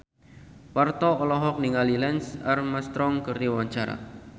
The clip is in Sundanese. Parto olohok ningali Lance Armstrong keur diwawancara